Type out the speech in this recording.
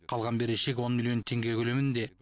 қалған берешек он миллион теңге көлемінде